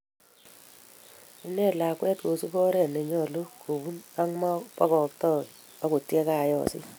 Ineet lakwet koosup oret ne nyolu kobun, ak ma pagaaktoi akot ye kagoosit